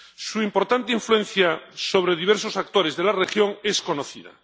Su importante influencia sobre diversos actores de la región es conocida.